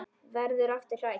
Verður aftur hrædd.